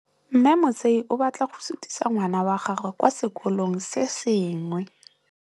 Mme Motsei o batla go sutisa ngwana wa gagwe kwa sekolong se sengwe.